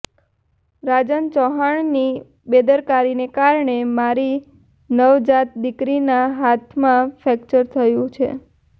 રાજન ચૌહાણની બેદરકારીને કારણે મારી નવજાત દિકરીના હાથમાં ફ્રેક્ચર થયું છે